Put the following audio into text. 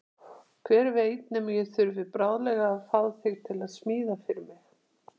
Hver veit nema ég þurfi bráðlega að fá þig til að smíða fyrir mig.